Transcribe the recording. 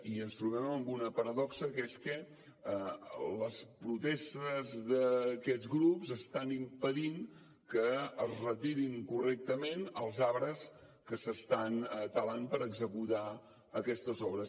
i ens trobem amb una paradoxa que és que les protestes d’aquests grups estan impedint que es retirin correctament els arbres que s’estan talant per executar aquestes obres